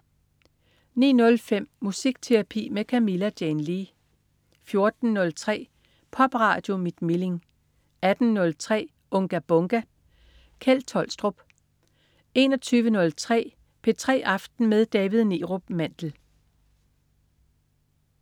09.05 Musikterapi med Camilla Jane Lea 14.03 Popradio mit Milling 18.03 Unga Bunga! Kjeld Tolstrup 21.03 P3 aften med David Neerup Mandel